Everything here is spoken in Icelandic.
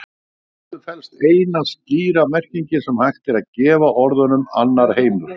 Í þessu felst eina skýra merkingin sem hægt er að gefa orðunum annar heimur.